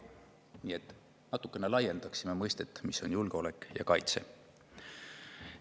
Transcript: Nii et meie natukene laiendaksime seda mõistet, mis on julgeolek ja kaitse.